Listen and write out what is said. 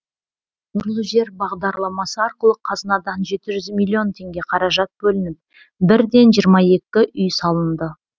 нұрлы жер бағдарламасы арқылы қазынадан жеті жүз миллион теңге қаражат бөлініп бірден жиырма екі үй салынды